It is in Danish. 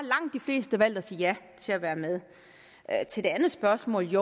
langt de fleste valgt at sige ja til at være med til det andet spørgsmål